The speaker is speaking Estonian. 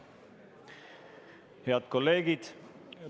Head kolleegid!